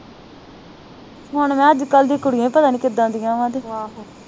ਹੁਣ ਨਾ ਅੱਜਕੱਲ੍ਹ ਦੀ ਕੁੜੀਆਂ ਪਤਾ ਨੀ ਕਿਦਾ